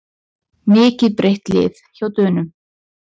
Mikið breytt lið hjá Dönum